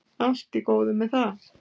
Allt í góðu með það.